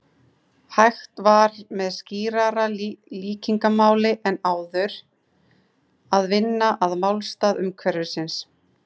Hægt var með skýrara líkingamáli en áður að vinna að málstað umhverfisins.